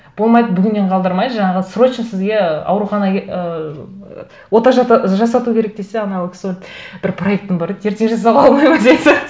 болмайды бүгіннен қалдырмай жаңағы срочно сізге ы аурухана ыыы ота жасату керек десе анау кісі барып бір проектім бар еді ертең жасауға болмайды ма